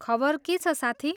खबर के छ साथी?